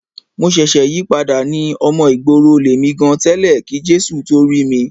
Èmi ṣẹ̀ṣẹ̀ yípadà ni. Ọmọ ìgboro lèmi gan tẹ́lẹ̀ kí Jésù tó rí mi.